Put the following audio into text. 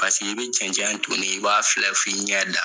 Paseke i bɛ cɛncɛn ton ne ye, i b'a filɛ fo i ɲɛ dan.